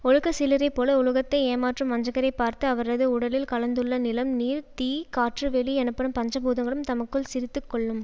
ஒழுக்க சீலரைப் போல உலகத்தை ஏமாற்றும் வஞ்சகரைப் பார்த்து அவரது உடலில் கலந்துள்ள நிலம் நீர் தீ காற்று வெளி எனப்படும் பஞ்சபூதங்களும் தமக்குள் சிரித்து கொள்ளும்